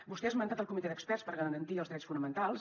vostè ha esmentat el comitè d’experts per garantir els drets fonamentals